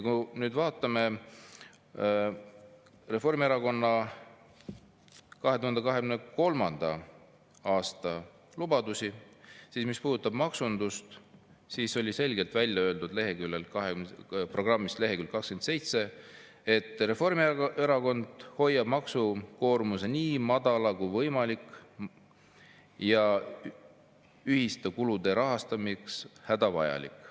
Kui me vaatame Reformierakonna 2023. aasta lubadusi, siis maksunduse kohta on programmi 27. leheküljel selgelt välja öeldud, et Reformierakond hoiab maksukoormuse nii madala kui võimalik ja ühiste kulude rahastamiseks hädavajalik.